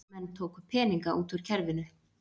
Menn tóku peninga út úr kerfinu